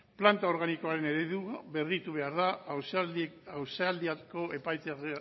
planta organikoaren eredua berritu behar da